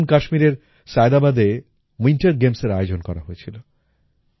যেমন কাশ্মীরের সায়েদাবাদে উইন্টার গেমস এর আয়োজন করা হয়েছিল